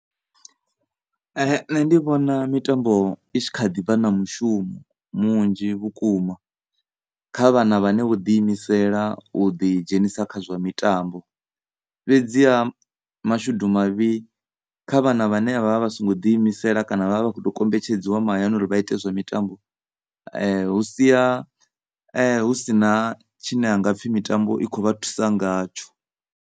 Nṋe ndi vhona mitambo i tshi kha ḓivha na mushumo munzhi vhukuma kha vhana vhane vho ḓi imisela u ḓi dzhenisa kha zwa mitambo fhedzi ha mashudu mavhi kha vhana vhane vha vha vha songo ḓi imisela kana vha vha vha khoto kombetshedziwa mahayani uri vha ite zwa mitambo hu si a husina tshine ha nga pfhi mitambo i kho vha thusa ngatsho.